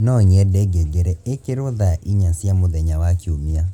no nyende ngengere ĩkĩrwo thaa inya cia mũthenya wa Kiumia